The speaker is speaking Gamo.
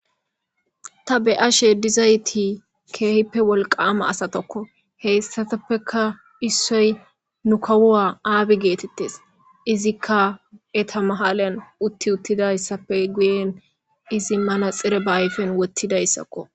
ta beyashe dizayti keehippe wolqama asatakko.heyssatappeka issoy nu kawuwa aabi geetettes. izikka eta matara uttidayssappe guyen izi manaxire ba ayfen wottidayssakko.